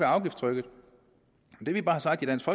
afgiftstrykket det vi bare har sagt i dansk